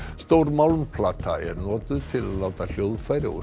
stór málmplata er notuð til að láta hljóðfæri og